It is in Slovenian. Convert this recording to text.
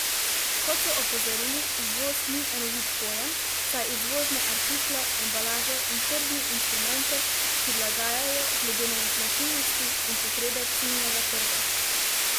Kot so opozorili, izvoz ni enovit pojem, saj izvozne artikle, embalažo in tržne instrumente prilagajajo glede na značilnosti in potrebe ciljnega trga.